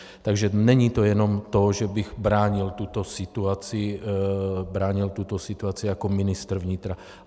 Takže není to jenom to, že bych bránil tuto situaci jako ministr vnitra.